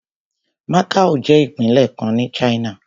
Macao jẹ́ ìpínlẹ̀ kan ní China.